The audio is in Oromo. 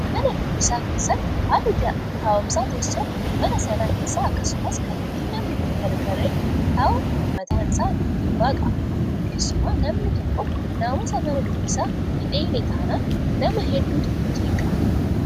Mana dubbisaa keessatti haalli taa'umsaa teessoo mana sana keessaa akkasumas kallattiin namni itti gargaralee taa'u mataan isaa dhiibbaa qaba. Keessumaa namni tokko naamusa mana dubbisaa hin eegne taanaan nama hedduutu jeeqama.